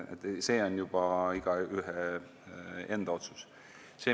See on juba igaühe enda otsus.